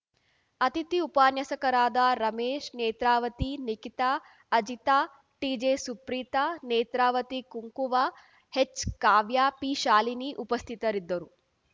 ಅತಿಥಿ ಉಪನ್ಯಾಸಕರಾದ Ramesh Netravati Nikhita Ajita T J Suprita Netravati Kunkuva H Kavya P Shalini ಉಪಸ್ಥಿತರಿದ್ದರು